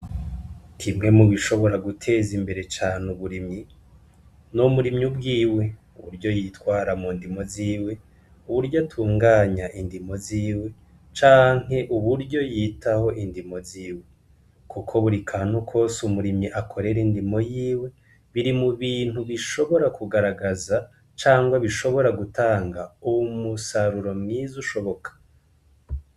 Kimwe mubishobora guteza imbere cane uburimyi numurimyi ubwiwe uburyo yitwara mu ndimo ziwe uburyo atunganya indimo ziwe canke uburyo yitaho indimo ziwe, kuko buri akantu kose umurimyi akorera indimo yiwe biri mu bintu bishobora kugaragaza cangwa bishobora gutanga uwu musaruro mwiza ushoboka.